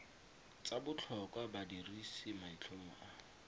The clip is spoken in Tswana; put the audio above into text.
tsa botlhokwa badirisi maitlhomo a